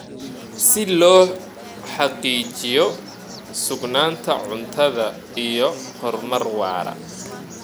Si loo xaqiijiyo sugnaanta cuntada iyo horumar waara.